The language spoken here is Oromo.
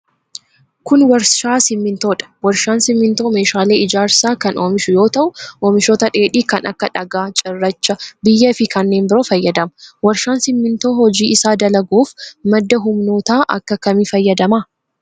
Kun, warshaa simiintoo dha. Warshaan simiintoo meeshaalee ijaarsaa kan oomishu yoo ta'u, oomishoota dheedhii kan akka dhagaa ,cirrachaa ,biyyee fi kanneen biroo fayyadama. Warshaan simiintoo hojii isaa dalaguuf ,madda humnootaa akka kamii fayyadama?